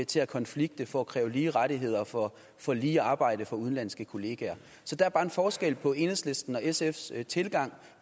til at konflikte for at kræve lige rettigheder for for lige arbejde for udenlandske kollegaer så der er bare en forskel på enhedslistens og sfs tilgang